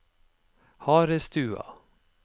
Harestua